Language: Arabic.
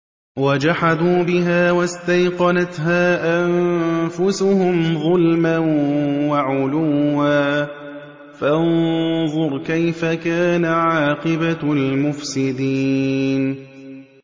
وَجَحَدُوا بِهَا وَاسْتَيْقَنَتْهَا أَنفُسُهُمْ ظُلْمًا وَعُلُوًّا ۚ فَانظُرْ كَيْفَ كَانَ عَاقِبَةُ الْمُفْسِدِينَ